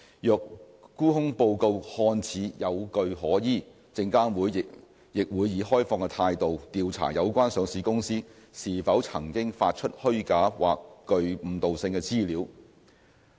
若沽空報告看似有據可依，證監會亦會以開放的態度調查有關上市公司是否曾經發出虛假或具誤導性的資料。